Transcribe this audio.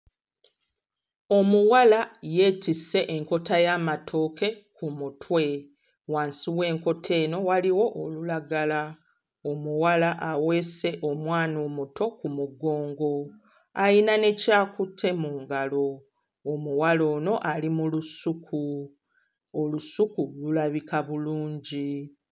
Omuwala yeetisse enkota y'amatooke ku mutwe, wansi w'enkota eno waliwo olulagala, omuwala aweese omwana omuto ku mugongo, ayina ne ky'akutte mu ngalo; omuwala ono ali mu lusuku, olusuku lulabika bulungi.